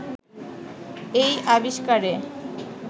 এই আবিষ্কারে